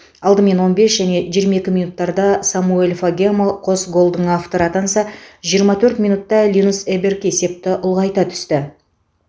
алдымен он бес және жиырма екі минуттарда самуэль фагемо қос голдың авторы атанса жиырма төрт минутта линус эберг есепті ұлғайта түсті